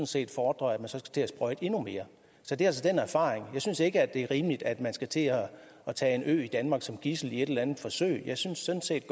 set fordrer at man så skal til at sprøjte endnu mere så det er altså den erfaring jeg synes ikke det er rimeligt at man skal til at tage en ø i danmark som gidsel i et eller andet forsøg jeg synes sådan set